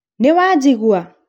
nĩwajigua?